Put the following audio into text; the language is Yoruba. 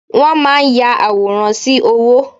Wọ́n máa ń ya àwòrán sí owó.